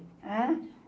Ãn?